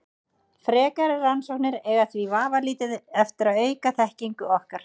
Frekari rannsóknir eiga því vafalítið eftir að auka þekkingu okkar.